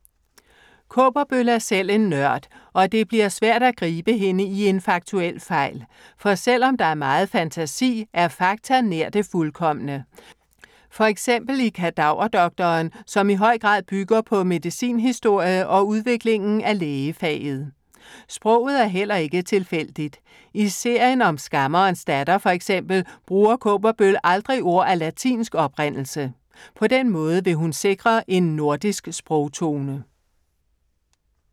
Kaaberbøl er selv en nørd og det bliver svært at gribe hende i en faktuel fejl. For selv om der er meget fantasi er fakta nær det fuldkomne. For eksempel i Kadaverdoktoren, som i høj grad bygger på medicinhistorie og udviklingen af lægefaget. Sproget er heller ikke tilfældigt. I serien om Skammerens datter, for eksempel, bruger Kaaberbøl aldrig ord af latinsk oprindelse. På den måde vil hun sikre en nordisk sprogtone.